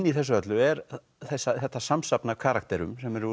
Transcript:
í þessu öllu er þetta samsafn af karakterum sem eru